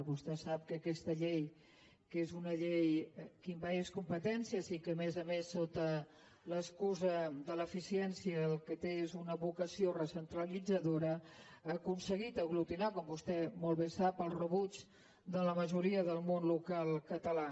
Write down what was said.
vostè sap que aquesta llei que és una llei que envaeix competències i que a més a més sota l’excusa de l’eficiència el que té és una vocació recentralitzadora ha aconseguit aglutinar com vostè molt bé sap el rebuig de la majoria del món local català